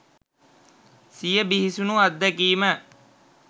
සිය බිහිසුණු අත්දැකීම